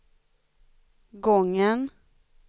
gången